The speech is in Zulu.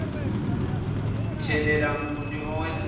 mthelela muni owenzeka